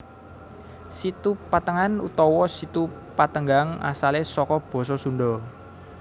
Situ Patengan utawa Situ Patenggang asale saka basa Sunda